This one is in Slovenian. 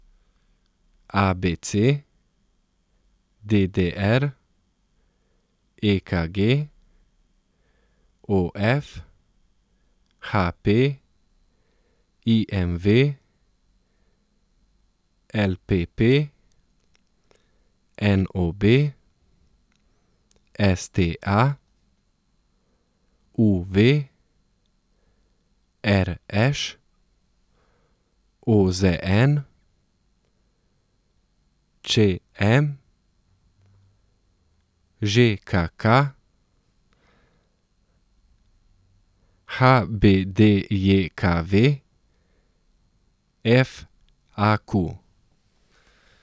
A B C; D D R; E K G; O F; H P; I M V; L P P; N O B; S T A; U V; R Š; O Z N; Č M; Ž K K; H B D J K V; F A Q.